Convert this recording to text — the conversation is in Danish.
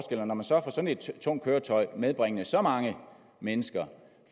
når man så tager sådan et tungt køretøj medbringende så mange mennesker og